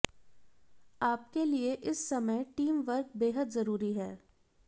आपके लिए इस समय टीम वर्क बेहद जरूरी है